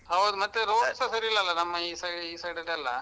ಹೌದ್ road ಸ ಸರಿ ಇಲ್ಲಲ್ಲ ನಮ್ಮ ಈ side ಈ side ಅಲ್ಲೆಲ್ಲ.